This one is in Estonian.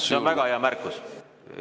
See on väga hea märkus.